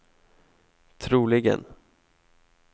troligen